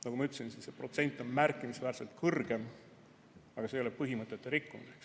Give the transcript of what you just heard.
Nagu ma ütlesin, see protsent on märkimisväärselt kõrgem, aga see ei ole põhimõtete rikkumine.